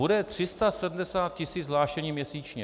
Bude 370 tisíc hlášení měsíčně.